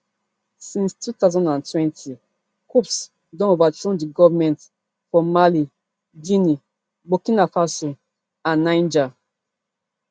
since two thousand and twenty coups don overthrow di governments for mali guinea burkina faso and niger